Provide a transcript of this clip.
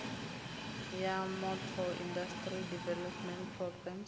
ya motor industry development programme